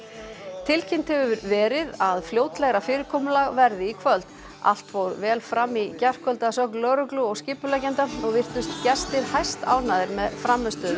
tilkynnt hefur verið að fljótlegra fyrirkomulag verði í kvöld allt fór vel fram í gærkvöld að sögn lögreglu og skipuleggjenda og virtust gestir hæstánægðir með frammistöðu